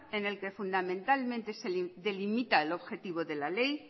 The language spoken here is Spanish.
en el que fundamentalmente se delimita el objetivo de la ley